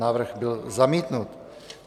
Návrh byl zamítnut.